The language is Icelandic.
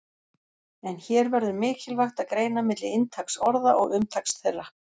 En hér verður mikilvægt að greina milli inntaks orða og umtaks þeirra.